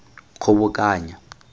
kgobokanya